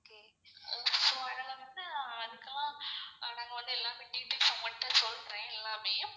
இப்போ அதுல வந்து நம்ம வந்து எல்லாமே details ச மட்டும் சொல்றேன் எல்லாமேயும்.